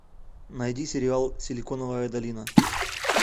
найди сериал силиконовая долина